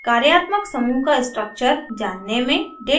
कार्यात्मक समूह का structure जानने में